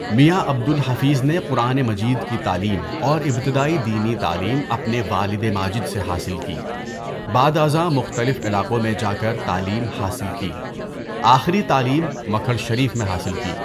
میاں عبد الحفیظ نے قرآن مجید کی تعلیم اور ابتدائی دینی تعلیم اپنے والد ماجد سے حاصل کی۔ بعد ازاں مختلف علاقوں میں جا کر تعلیم حاصل کی۔ آخری تعلیم مکھڈ شریف میں حاصل کی۔